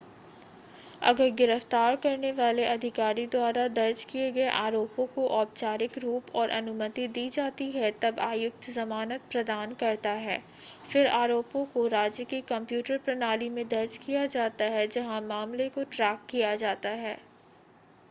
अगर गिरफ़्‍तार करने वाले अधिकारी द्वारा दर्ज किए गए आरोपों को औपचारिक रूप और अनुमति दी जाती है तब आयुक्त जमानत प्रदान करता है. फिर आरोपों को राज्य की कंप्यूटर प्रणाली में दर्ज किया जाता है जहाँ मामले को ट्रैक किया जाता है